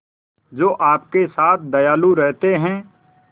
जो आपके साथ दयालु रहते हैं